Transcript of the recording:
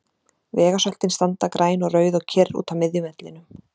Vegasöltin standa græn og rauð og kyrr úti á miðjum vellinum.